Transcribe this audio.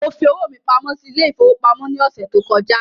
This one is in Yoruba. Mo fi owó mí pamọ́ sí ile-ìfowópamó ní ọsẹ tó kọjá